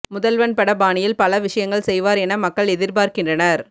முதல்வன் பட பாணியில் பல விஷயங்கள் செய்வார் என மக்கள் எதிர்பார்க்கின்றனர்